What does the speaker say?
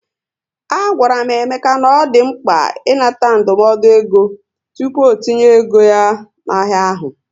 A gwara m Emeka na ọ dị mkpa ị nata ndụmọdụ égo tupu ọtinye ego ya na ahịa ahụ